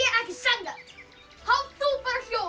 ekki sanngjarnt haf þú bara hljóð